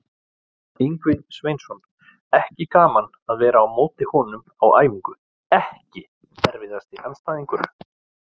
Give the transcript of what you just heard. Ingvi Sveinsson, ekki gaman að vera á móti honum á æfingu EKKI erfiðasti andstæðingur?